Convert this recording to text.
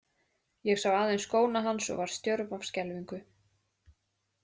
Ég sá aðeins skóna hans og varð stjörf af skelfingu.